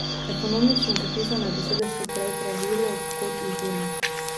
Ekonomično zapisane besede so prej pravilo kot izjema.